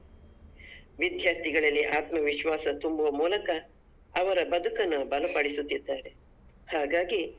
ವಿದ್ಯಾರ್ಥಿಗಳಲ್ಲಿ ಆತ್ಮವಿಶ್ವಾಸ ತುಂಬುವ ಮೂಲಕ ಅವರ ಬದುಕನ್ನು ಬಲಪಡಿಸುತ್ತಿದ್ದಾರೆ ಹಾಗಾಗಿ.